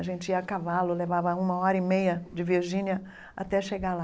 A gente ia a cavalo, levava uma hora e meia de Virgínia até chegar lá.